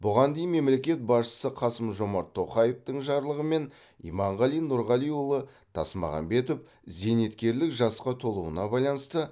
бұған дейін мемлекет басшысы қасым жомарт тоқаевтың жарлығымен иманғали нұрғалиұлы тасмағамбетов зейнеткерлік жасқа толуына байланысты